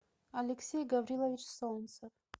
алексей гаврилович солнцев